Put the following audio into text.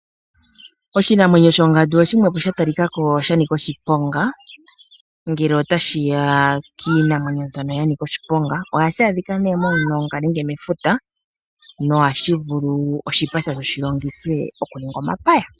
Oshinamwenyo shongandu oshimwe sha talikako sha nika oshiponga ngele otashiya kiinamwenyo mbyono ya nika oshiponga . Ohashi adhika nee momilonga noshipa shasho ohashi vulu shi longithwe oku ninga omapaya.